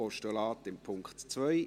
Postulat beim Punkt 2.